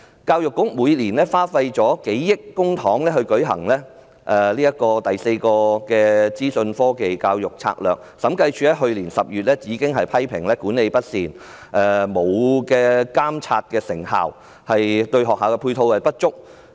教育局每年花費數億元公帑來推行"第四個資訊科技教育策略"，審計署上年10月批評該策略管理不善、沒有監察成效、對學校配套不足。